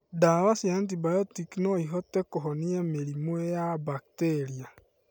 Ndawa cia antibiotic noihote kũhonia mĩrimũ ya mbakteria